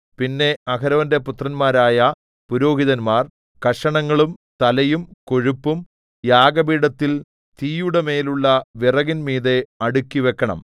പിന്നെ അഹരോന്റെ പുത്രന്മാരായ പുരോഹിതന്മാർ കഷണങ്ങളും തലയും കൊഴുപ്പും യാഗപീഠത്തിൽ തീയുടെമേലുള്ള വിറകിന്മീതെ അടുക്കിവക്കണം